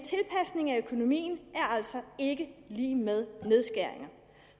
økonomien er altså ikke lig med nedskæringer